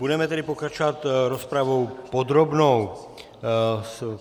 Budeme tedy pokračovat rozpravou podrobnou.